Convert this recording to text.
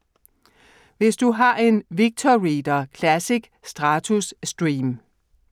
Hvis du har en VictorReader Classic/Stratus/Stream: